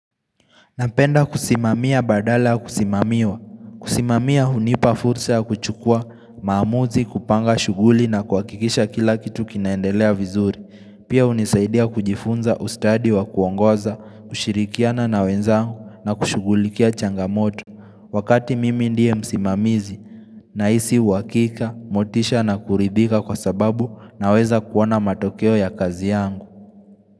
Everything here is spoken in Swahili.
Napenda kusimamia badala ya kusimamiwa. Kusimamia hunipa fursa ya kuchukua, maamuzi, kupanga, shughuli na kuha kikisha kila kitu kinaendelea vizuri. Pia hunisaidia kujifunza ustadi wa kuongoza, kushirikiana na wenzangu na kushughulikia changamoto. Wakati mimi ndiye msimamizi na isi uhakika, motisha na kuridhika kwa sababu na weza kuona matokeo ya kazi yangu.